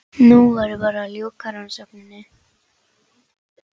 Nú væri bara að ljúka rannsókninni.